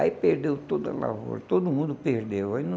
Aí perdeu toda a lavoura, todo mundo perdeu. Aí não